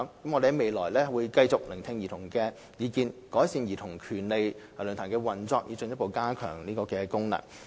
我們在未來會繼續聆聽兒童的意見，改善論壇的運作，以進一步加強其功能。